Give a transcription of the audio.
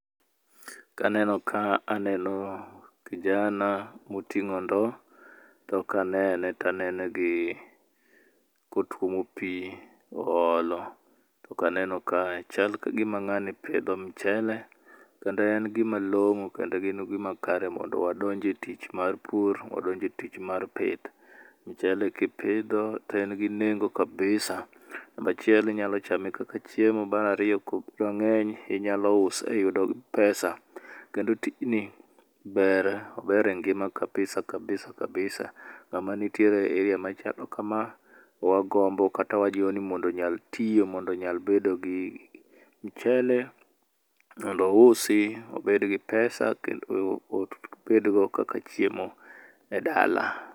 Kaneno ka to aneno kijana motingó ndo. To kanene, to anene gi, kotuomo pi oolo. To kaneno kae to chal ka gima ngáni pidho mchele kendo en gima longó, kendo gin gima kare mondo wadonj e tich mar pur, wadonj e tich mar pith. Mchele kipidho to en gi nengo kabisa. Namba achiel inyalo chame kaka chiemo, Mar ariyo inyalo use iyudo pesa. Kendo tijni ber. Ober e ngima kabisa, kabisa, kabisa. Ngáma nitiere e area machalo kama, wagombo kata wajiwo ni mondo onyal tiyo, mondo onyal bedo gi mchele mondo ousi, obed gi pesa kendo obed go kaka chiemo e dala.